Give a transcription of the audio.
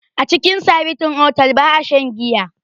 A cikin sabintin otal ba'a shan giya.